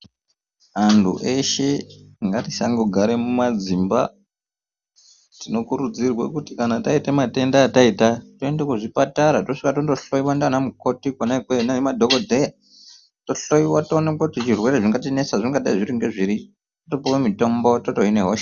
Antu eshe ngatisangogara mumadzimba. Tinokurudzirwe kuti kana taita matenda ataita toenda kuzvipatara tosvika tondohloiwa ndiana mukoti kwona ikweyo nemadhokodheya tohloyiwa toonekwa kuti zvirwere zvingatinesa zvingadai ngezviri topuwe mitombo totohine hosha.